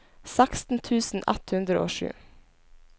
seksten tusen ett hundre og sju